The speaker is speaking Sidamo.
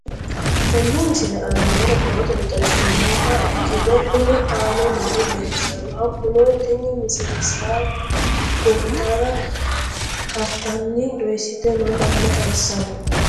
Tenne misile aana noore borrotenni xawisummoha ikirro kunni aane noore leelishano. Hakunno tinni misile saa goritarra kartarra dooyisitte noo manna xawissanno.